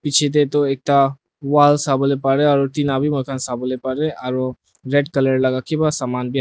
biche tey toh ekta wall sawoley parey aro tina bi moikhan sawoley parey aru red colour laka kiba samanbi--